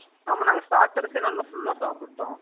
ஆமா நாங்க starters யே நல்லா full அ சாப்பிட்டோம்